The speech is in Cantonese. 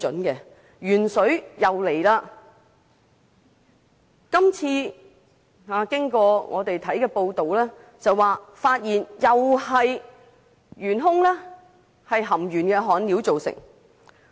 鉛水事件再次出現，而透過報道更可得知今次的元兇又是含鉛焊料。